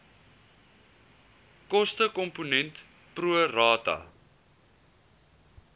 kostekomponent pro rata